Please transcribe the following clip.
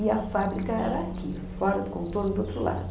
E a fábrica era aqui, fora do contorno do outro lado.